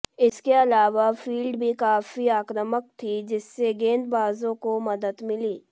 इसके अलावा फील्ड भी काफी आक्रामक थी जिससे गेंदबाजों को मदद मिली